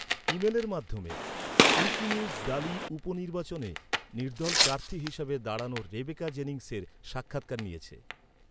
ইমেলের মাধ্যমে, Wikinews Daly উপ নির্বাচনে নির্দল প্রার্থী হিসাবে দাঁড়ানো রেবেকা জেনিংসের সাক্ষাৎকার নিয়েছে।